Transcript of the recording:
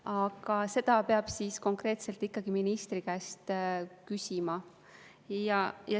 Aga seda peab konkreetselt ikkagi ministri käest küsima.